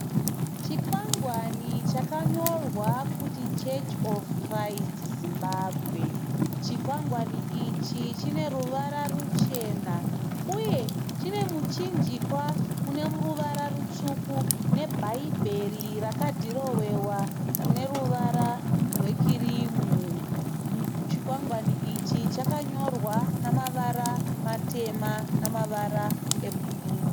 Chikwangwani chakanyorwa kuti Church of Christ Zimbabwe. Chikwangwani ichi chine ruvara ruchena uye chine muchinjikwa une ruvara rutsvuku, nebhaibheri rakadhirowewa neruvara rwe kirimu. Chikwangwani ichi chakanyorwa nemavara matema nemavara e bhuruu.